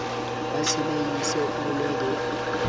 ba tshedisehe o na le